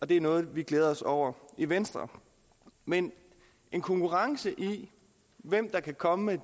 det er noget vi glæder os over i venstre men en konkurrence i hvem der kan komme med